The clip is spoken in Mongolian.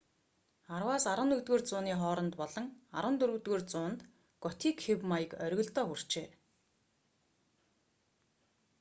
10-11-р зууны хооронд болон 14-р зуунд готик хэв маяг оргилдоо хүрчээ